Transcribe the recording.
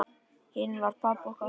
Hinn var pabbi okkar.